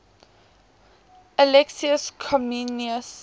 alexius comnenus